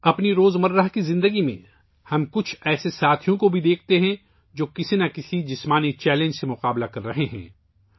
اپنی روزمرہ کی زندگی میں ہم کچھ ایسے ساتھی بھی دیکھتے ہیں، جو کسی نہ کسی جسمانی چیلنج کا مقابلہ کر رہے ہوتے ہیں